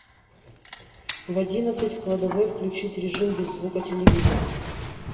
в одиннадцать в кладовой включить режим без звука телевизора